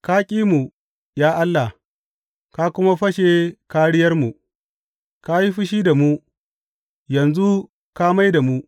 Ka ki mu, ya Allah, ka kuma fashe kāriyarmu; ka yi fushi da mu, yanzu ka mai da mu!